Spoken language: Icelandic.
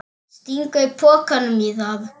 Stingur pokanum í það.